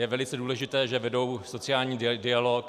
Je velice důležité, že vedou sociální dialog.